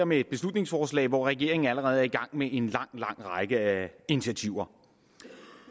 med et beslutningsforslag hvor regeringen allerede er i gang med en lang lang række initiativer